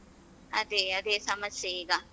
ಅದೇ ಅದೇ ಅದೇ ಸಮಸ್ಯೆ ಈಗ.